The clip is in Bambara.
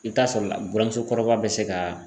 I bɛ t'a sɔrɔ buramusokɔrɔba bɛ se ka